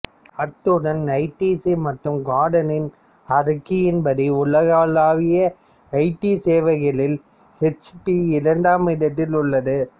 அத்துடன் ஐடிசி மற்றும் கார்ட்னரின் அறிக்கைப்படி உலகளாவிய ஐடி சேவைகளிலும் ஹெச்பி இரண்டாவது இடத்தில் உள்ளது